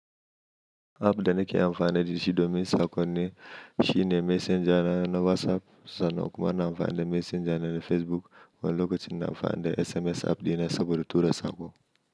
App da nake amfani da shi domin saƙonni shine Messenger na WhatsApp sannan kuma na amfani da messenger na Facebook, wani lokacin ina amfani da SMS app dina saboda tura saƙo.